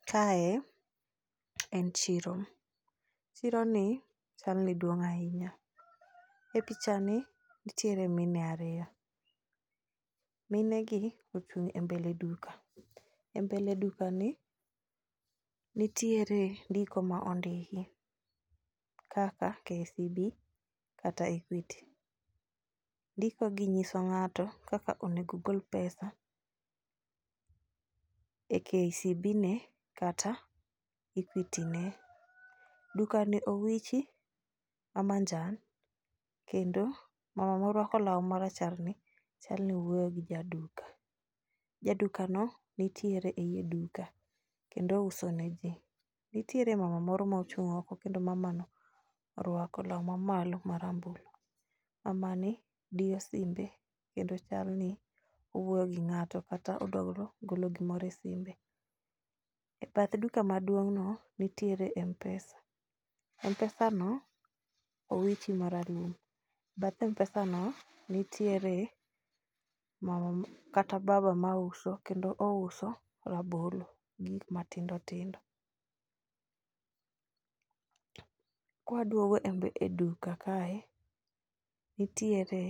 Kae en chiro, chironi chalni duong' ahinya. E pichani nitiere mine ariyo, minegi ochung' e mbele duka. E mbele dukani nitiere ndiko ma ondiki kaka KCB,kata Equity. Ndikogi nyiso ng'ato kaka onego ogol pesa e KCB ne kata Equity ne . Dukani owichi ma manjan, kendo mama morwako law maracharni chal ni wuoyo gi jaduka. Jadukano nitiere ei duka kendo uso ne ji. Nitiere mama moro mochung' oko kendo mamano orwako law mamalo marambulu. Mamani diyo simbe kendo chal ni owuoyo gi ng'ato kata odwo golo ,golo gimoro e simbe. E bath duka maduong'no, nitiere mpesa. M-pesano owiche maralum. Bath m-pesano nitiere kata baba mauso kendo ouso rabolo gi gik matindo tindo. Kwaduogo e duka kae, nitiere